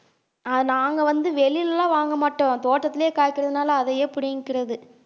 அஹ் நாங்க வந்து வெளியிலல்லாம் வாங்க மாட்டோம் தோட்டத்திலேயே காய்க்கிறதுனால அதையே புடிங்கிக்கிறது